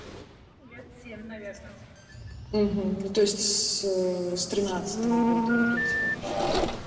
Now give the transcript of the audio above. лет семь наверно то есть с с тринадцатого года ориентировочно